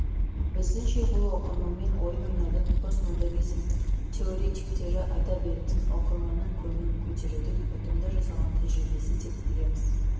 біздіңше бұл оқырманмен ойын ойнаудың постмодернизм теоретиктері айта беретін оқырманның көңілін көтерудің ұтымды жасалған тәжірибесі деп білеміз